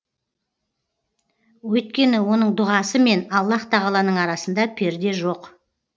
өйткені оның дұғасы мен аллаһ тағаланың арасында перде жоқ